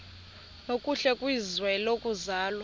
nokuhle kwizwe lokuzalwa